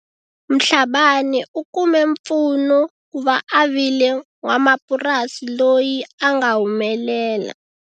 Mhlabane u kume mpfuno ku va a vile n'wamapurasi loyi a nga humelela.